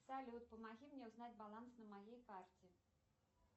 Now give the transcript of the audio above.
салют помоги мне узнать баланс на моей карте